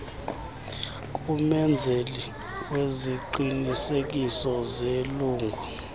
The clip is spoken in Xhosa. kumenzeli wesiqinisekiso selungu